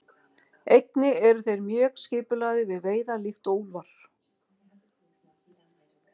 Einnig eru þeir mjög skipulagðir við veiðar líkt og úlfar.